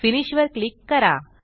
finish वर click करा